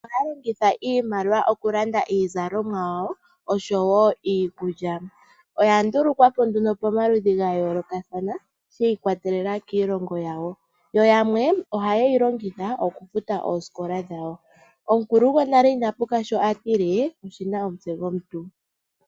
Aantu ohaya longitha iimaliwa oku landa iizalomwa yawo osho wo iikulya, oya ndulukwapo nduno pomaludhi gayoolokathana, shii kwatelela kiilongo yawo, yo yamwe oha yeyi longitha oku futa oosikola dhawo. Omukulu gonale ina puka shoka atile 'Oshina omutse gomuntu'.